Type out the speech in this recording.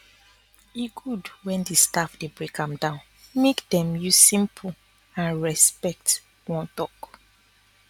e good when di staff dey break am down make dem use simple and respect wan talk